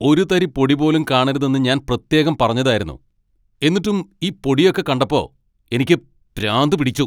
ഒരു തരി പൊടി പോലും കാണരുതെന്ന് ഞാൻ പ്രത്യേകം പറഞ്ഞതായിരുന്നു. എന്നിട്ടും ഈ പൊടിയൊക്കെ കണ്ടപ്പോൾ എനിക്ക് പ്രാന്ത് പിടിച്ചു.